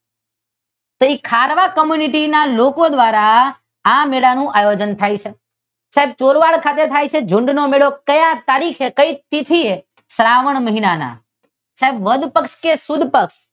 તો તે ખારવા કૉમ્યુનિટી ના લોકો દ્વારા આ મેળાનું આયોજન થાય છે. પણ ચોરવાડ ખાતે થાય છે. ઝૂંડનો મેળો તો ક્ઈ તારીખે કઈ તીથી એ શ્રાવણ મહિના માં સાહેબ સુદ પક્ષ કે વદ પક્ષ?